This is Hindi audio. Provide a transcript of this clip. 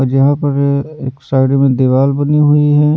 और यहां पर एक साइड में दीवार बनी हुई है।